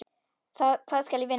Hvað skal ég vinna?